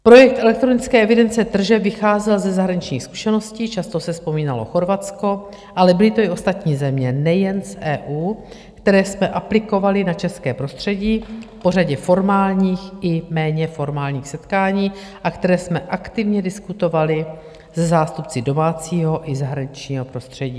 Projekt elektronické evidence tržeb vycházel ze zahraničních zkušeností, často se vzpomínalo Chorvatsko, ale byly to i ostatní země, nejen v EU, které jsme aplikovali na české prostředí po řadě formálních i méně formálních setkání a které jsme aktivně diskutovali se zástupci domácího i zahraničního prostředí.